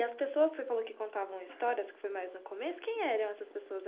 E as pessoas que você falou que contavam histórias, que foi mais no começo, quem eram essas pessoas?